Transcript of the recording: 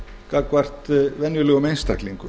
gagnvart venjulegum einstaklingum